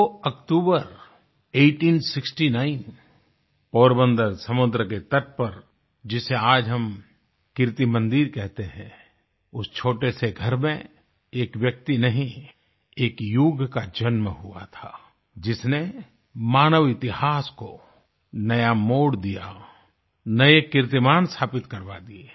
2 अक्टूबर 1869 पोरबन्दर समुद्र के तट पर जिसे आज हम कीर्ति मंदिर कहते हैं उस छोटे से घर में एक व्यक्ति नहीं एक युग का जन्म हुआ था जिसने मानव इतिहास को नया मोड़ दिया नये कीर्तिमान स्थापित करवा दिए